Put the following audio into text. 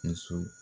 Muso